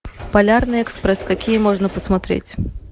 полярный экспресс какие можно посмотреть